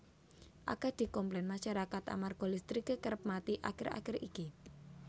akeh dikomplen masyarakat amarga listrike kerep mati akhir akhir iki